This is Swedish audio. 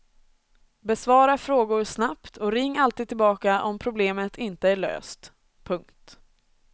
Besvara frågor snabbt och ring alltid tillbaka om problemet inte är löst. punkt